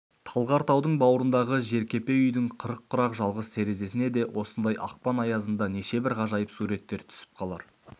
талғар таудың бауырындағы жеркепе үйдің қырық құрақ жалғыз терезесіне де осындай ақпан аязында нешебір ғажайып суреттер түсіп қалар